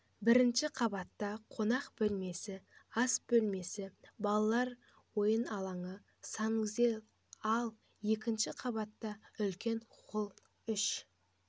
бірінші қабатта қонақ бөлмесі ас бөлмесі балалар ойын алаңы санузел ал екінші қабатта үлкен холл үш